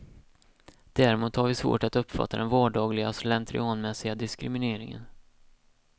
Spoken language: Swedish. Däremot har vi svårt att uppfatta den vardagliga, slentrianmässiga diskrimineringen.